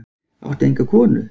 Áttu enga konu?